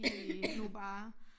De nu bare